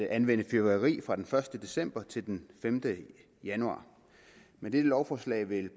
anvende fyrværkeri fra den første december til den femte januar med dette lovforslag vil